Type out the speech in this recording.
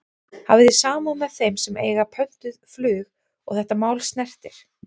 Hafi þið samúð með þeim sem að eiga pöntuð flug og þetta mál snertir?